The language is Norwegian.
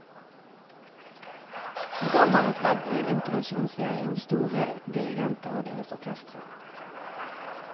Programmet er et ledd i en internasjonal serie om store dirigenter og deres orkestre.